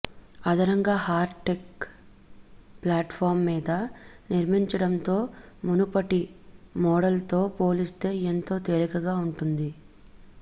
అదనంగా Heartect platform మీద నిర్మించడంతో మునుపటి మోడల్తో పోల్చితే ఎంతో తేలికగా ఉంటుంది